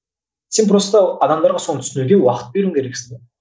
сен просто адамдарға соны түсінуге уақыт беруің керексің